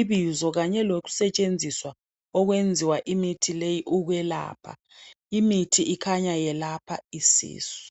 ibizo kanye lokusetshenziswa okwenziwa imithi leyi ukwelapha. Imithi ikhanya yelapha isisu